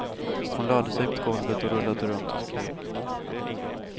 Hon lade sig på golvet och rullade runt och skrek.